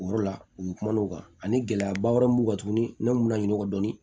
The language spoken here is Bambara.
O yɔrɔ la u ye kumaw kan ani gɛlɛyaba wɛrɛw b'u kan tuguni ne m'u laɲini o dɔnni